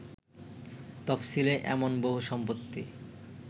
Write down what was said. তফশিলে এমন বহু সম্পত্তি